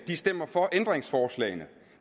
stemmer for ændringsforslagene